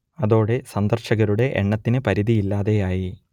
അതോടെ സന്ദർശകരുടെ എണ്ണത്തിന് പരിധിയില്ലാതെ ആയി